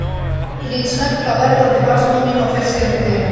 Ég lít snöggt á verðandi barnsmóður mína og fer síðan til dyra.